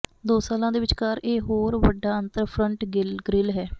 ਦੋ ਸਾਲਾਂ ਦੇ ਵਿਚਕਾਰ ਇਕ ਹੋਰ ਵੱਡਾ ਅੰਤਰ ਫਰੰਟ ਗ੍ਰਿਲ ਹੈ